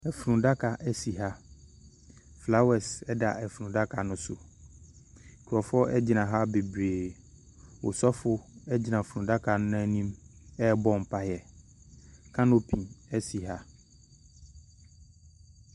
Efunudaka esi ha. Flawɛs ɛda efunudaka no ɛso. Nkurɔfoɔ egyina ha beberee. Ɔsofo egyina funudaka no anim ɛbɔ mpae. Kanopi esi ha.